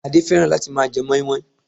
Adé fẹ́ràn láti máa je mọ́ímọ́í